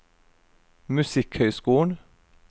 musikkhøyskolen